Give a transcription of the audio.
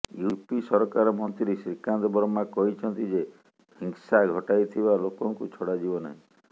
UP ସରକାର ମନ୍ତ୍ରୀ ଶ୍ରୀକାନ୍ତ ଶର୍ମା କହିଛନ୍ତି ଯେ ହିଂସା ଘଟାଇଥିବା ଲୋକଙ୍କୁ ଛଡାଯିବ ନାହିଁ